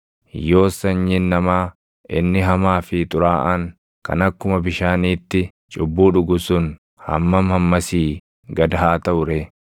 yoos sanyiin namaa inni hamaa fi xuraaʼaan, kan akkuma bishaaniitti cubbuu dhugu sun // hammam hammasii gad haa taʼu ree!